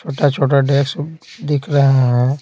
छोटा-छोटा डेक्स दिख रहा है।